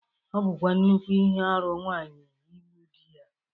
Ọ bụkwa nnukwu ihe arụ nwaanyi igbu di ya.